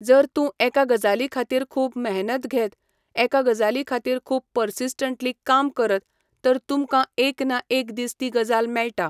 जर तूं एका गजाली खातीर खूब मेहनत घेत. एका गजाली खातीर खूब पर्सिस्टंसली काम करत तर तुमकां एक ना एक दीस ती गजाल मेळटा